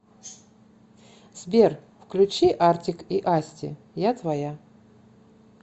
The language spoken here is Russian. сбер включи артик и асти я твоя